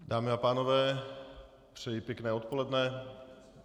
Dámy a pánové, přeji pěkné odpoledne.